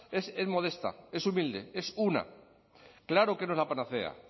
es modesta es humilde es una claro que no es la panacea